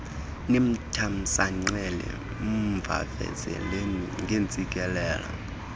nimthamsanqele mvavazeleni ngeentsikelelo